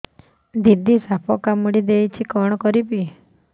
ଦିଦି ସାପ କାମୁଡି ଦେଇଛି କଣ କରିବି